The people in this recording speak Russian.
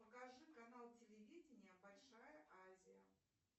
покажи канал телевидения большая азия